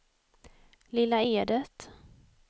Lilla Edet